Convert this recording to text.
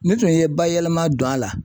N'u tun ye bayɛlɛma don a la